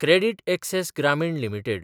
credit access Grameen limited